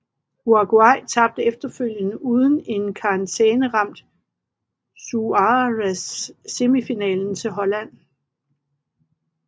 Uruguay tabte efterfølgende uden en karantæneramt Suárez semifinalen til Holland